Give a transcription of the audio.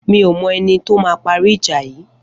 Mi ó mọ ẹni tó mà pàrí ijà yi